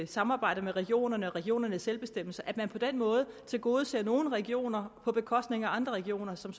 samarbejdet med regionerne og regionernes selvbestemmelse at man på den måde tilgodeser nogle regioner på bekostning af andre regioner som